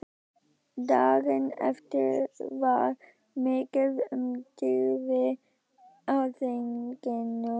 Daginn eftir var mikið um dýrðir á þinginu.